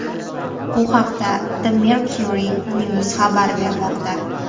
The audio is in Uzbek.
Bu haqda The Mercury News xabar bermoqda .